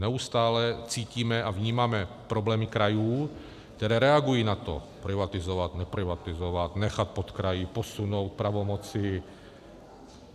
Neustále cítíme a vnímáme problémy krajů, které reagují na to privatizovat, neprivatizovat, nechat pod kraji, posunout pravomoci.